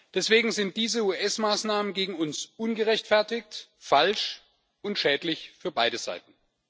Deswegen sind diese US Maßnahmen gegen uns ungerechtfertigt, falsch und schädlich für beide Seiten.